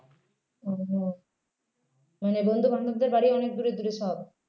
ও হম মানে বন্ধুবান্ধবদের বাড়ি অনেক দূরে দূরে সব